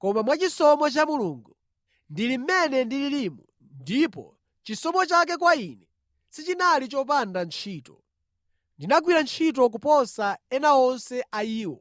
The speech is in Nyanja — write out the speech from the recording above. Koma mwachisomo cha Mulungu, ndili mmene ndililimu, ndipo chisomo chake kwa ine sichinali chopanda ntchito. Ndinagwira ntchito kuposa ena onse a iwo.